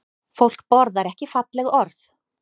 Fólk borðar ekki falleg orð